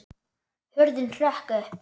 Hurðin hrökk upp!